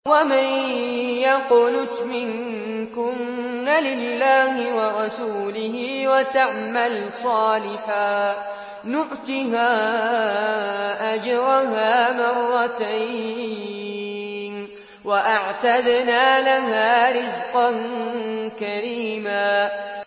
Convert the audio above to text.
۞ وَمَن يَقْنُتْ مِنكُنَّ لِلَّهِ وَرَسُولِهِ وَتَعْمَلْ صَالِحًا نُّؤْتِهَا أَجْرَهَا مَرَّتَيْنِ وَأَعْتَدْنَا لَهَا رِزْقًا كَرِيمًا